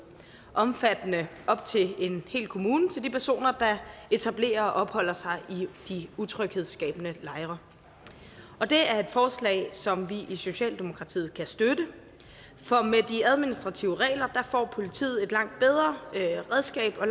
omfattende op til en hel kommune til de personer der etablerer og opholder sig i de utryghedsskabende lejre og det er et forslag som vi i socialdemokratiet kan støtte for med de administrative regler får politiet et langt bedre redskab og